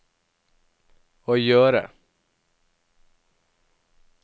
å gjøre